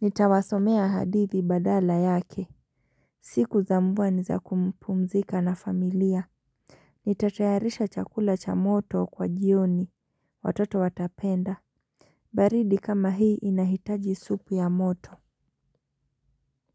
Nitawasomea hadithi badala yake. Siku za mbua ni za kumpumzika na familia. Nitatayarisha chakula cha moto, kwa jioni, watoto watapenda. Baridi kama hii inahitaji supu ya moto.